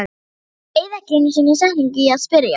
Ég eyði ekki einu sinni setningu í að spyrja